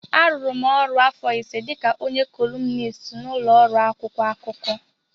A rụrụ m ọrụ afọ ise dịka onye kọlumnist n'ụlọ ọrụ akwụkwọ akụkọ.